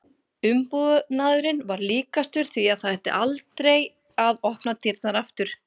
Umbúnaðurinn var líkastur því að það ætti aldrei að opna dyrnar aftur.